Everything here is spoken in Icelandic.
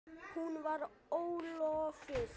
Hún var ólofuð.